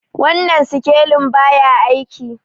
wannan sikelin ba ya aiki